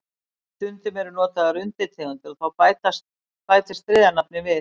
Stundum eru notaðar undirtegundir og þá bætist þriðja nafnið við.